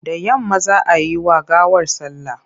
Da yamma za a yi wa gawar sallah.